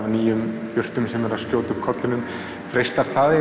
nýjar jurtir sem eru að skjóta upp kollinum freistar það